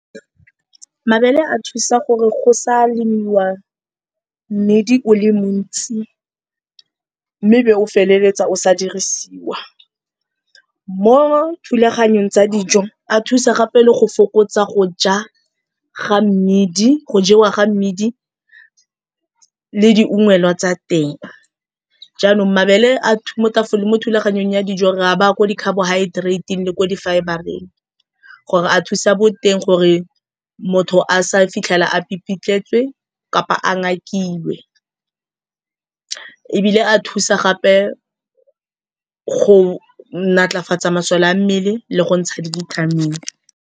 Mabele a thusa gore go sa lemiwa medi o le montsi mme be o feleletsa o sa dirisiwa. Mo thulaganyong tsa dijo a thusa gape le go fokotsa go jewa ga mmidi le di ungwelwa tsa teng. Jaanong mabele mo thulaganyong ya dijo ra ba ko di carbohydrateng le ko difibreng gore a thusa boteng gore motho a sa fitlhela a pipitlhetswe kapa a ngakilwe. Ebile a thusa gape go natlafatsa masole a mmele le go ntsha dibithamini.